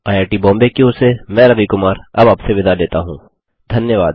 IIT Bombay की ओर से मैं रवि कुमार अब आपसे विदा लेता हूँधन्यवाद